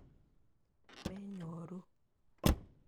Menyoru.